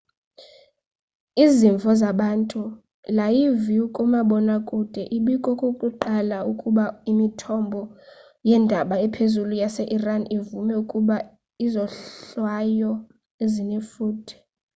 izimvo zabantu layivu kumabonwakude ibikokokuqala ukuba imithombo yeendaba ephezulu yase iran ivume ukuba izohlwayo zinefuthe